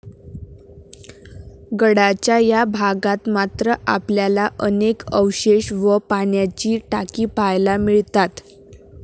गडाच्या या भागात मात्र आपल्याला अनेक अवशेष व पाण्याची टाकी पाहायला मिळतात.